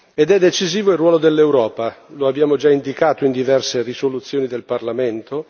Ed è decisivo il ruolo dell'Europa, lo abbiamo già indicato in diverse risoluzioni del Parlamento.